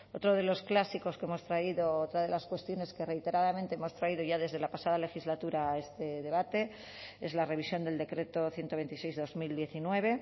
otro de los clásicos que hemos traído otra de las cuestiones que reiteradamente hemos traído ya desde la pasada legislatura a este debate es la revisión del decreto ciento veintiséis barra dos mil diecinueve